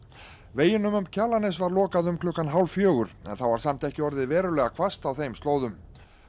veginum um Kjalarnes var lokað um klukkan hálf fjögur en þá var samt ekki orðið verulega hvasst á þeim slóðum